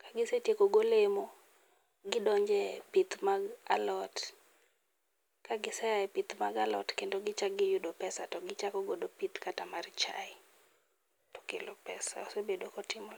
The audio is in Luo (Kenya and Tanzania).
Kagisetieko golemo, gidonjo e pith mag alot, kagisea e pith mag alot to giyudo pesa to gichako godo pith kata mar chae, okelo pesa osebedo kotimore.